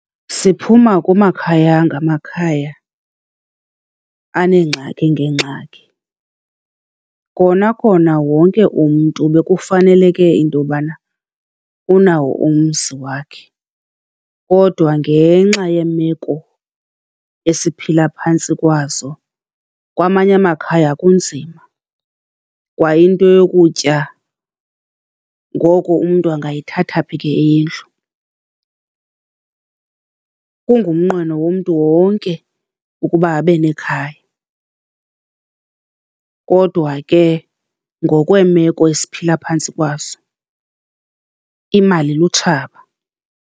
Siphuma kumakhaya ngamakhaya aneengxaki ngeengxaki. Kona kona wonke umntu bekufaneleke into yobana unawo umzi wakhe kodwa ngenxa yemeko esiphila phantsi kwazo, kwamanye amakhaya kunzima kwa into yokutya. Ngoko umntu angayithatha phi ke eyendlu? Kungumnqweno womntu wonke ukuba abe nekhaya kodwa ke ngokweemeko esiphila phantsi kwazo imali lutshaba.